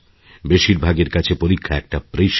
বেশিরভাগের কাছে পরীক্ষা একটা প্রেশার